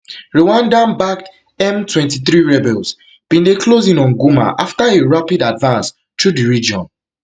rwandanbacked mtwenty-three rebels bin dey close in on goma after a rapid advance through di region